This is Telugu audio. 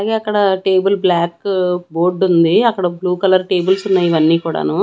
అలాగే అక్కడ టేబుల్ బ్లాక్ బోర్డు ఉంది అక్కడ బ్లూ కలర్ టేబుల్స్ ఉన్నాయి ఇవన్నీ కూడాను.